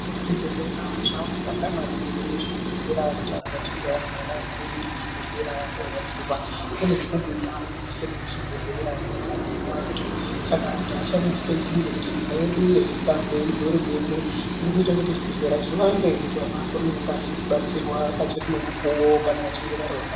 Zvibhehlera zvanaka maningi uye zvinodetsera kuti kana antu achinge arwara anoenda kuchibhehlera korapiwa. Kune dzimweni ndau dzisiri chibhehlera dzinorapirwa antu saka antu achaneneseki ngekuti hurumende yedu yeZimbabwe zviriita kuti zvibhehlera zviwande antu arapwe ngekukasira pachiri nemukuwo kana vachinge varwara.